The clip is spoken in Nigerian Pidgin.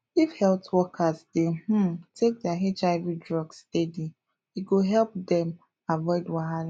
if health workers dey um take their hiv drugs steady e go help dem avoid wahala